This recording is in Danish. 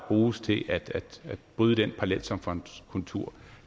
bruges til at bryde den parallelsamfundskultur